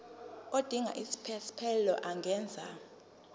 odinga isiphesphelo angenza